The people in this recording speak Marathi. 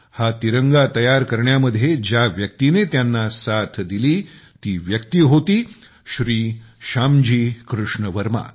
हा तिरंगा डिझाईन करण्यामध्ये ज्या व्यक्तीने त्यांना साथ दिली ती व्यक्ती होती श्री श्यामजी कृष्ण वर्मा